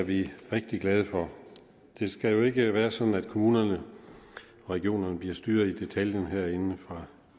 vi rigtig glade for det skal jo ikke være sådan at kommunerne og regionerne bliver styret i detaljen herinde fra